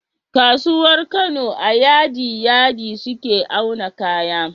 Kasuwar Kano a yadi yadi suke auna kaya